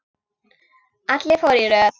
Allir fóru í röð.